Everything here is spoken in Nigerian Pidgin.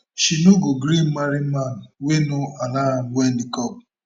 she no go gree marry man wey no allow am wear niqab